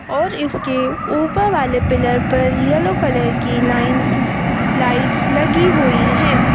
और इसके ऊपर वाले पिलर परयेलो कलर की लाइंस लाइट्स लगी हुई हैं।